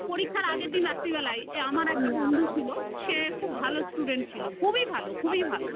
পরীক্ষার আগের দিন রাত্রেবেলায় আমার একটা বন্ধু ছিল সে খুব ভালো student ছিল, খুবই ভালো খুবই ভালো